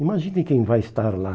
Imagine quem vai estar lá.